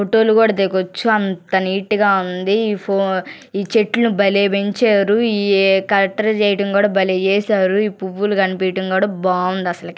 Photo లు కూడా దిగొచ్చు అంత నీట్ గ ఉంది ఈ చెట్లు బలే పెంచారు ఈ ఏ చేయడం కూడా బలే చేసారు ఈ పువ్వులు కనిపియటం కూడా బాగుంది అసలకి.